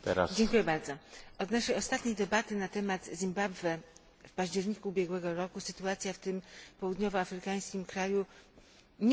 Od naszej ostatniej debaty na temat Zimbabwe w październiku ubiegłego roku sytuacja w tym południowoafrykańskim kraju nie uległa zmianie.